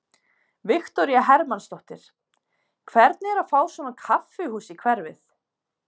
Viktoría Hermannsdóttir: Hvernig er að fá svona kaffihús í hverfið?